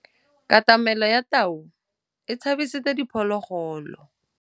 Katamêlô ya tau e tshabisitse diphôlôgôlô.